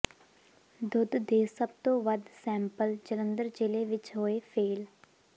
ਦੁੱਧ ਦੇ ਸਭ ਤੋਂ ਵੱਧ ਸੈਂਪਲ ਜਲੰਧਰ ਜ਼ਿਲ੍ਹੇ ਵਿਚ ਹੋਏ ਫ਼ੇਲ੍ਹ